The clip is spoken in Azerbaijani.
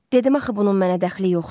Dedim axı bunun mənə dəxli yoxdur.